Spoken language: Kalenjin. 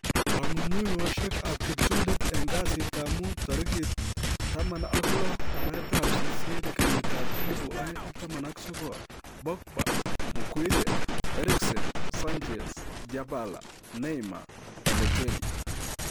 Kong'ung'unyosiek ab kiptulit en kasitab mut tarigit 16/08/2019: Pogba, Maguire, Eriksen, Sanchez, Dybala, Neymar, Balotelli